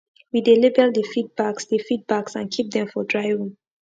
we dey label the feed bags the feed bags and keep dem for dry room